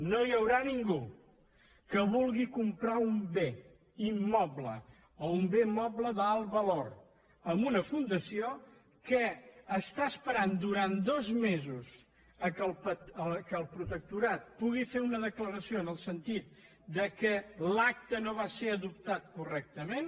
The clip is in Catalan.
no hi haurà ningú que vulgui comprar un bé immoble o un bé moble d’alt valor a una fundació que espera durant dos mesos que el protectorat pugui fer una declaració en el sentit que l’acte no va ser adoptat correctament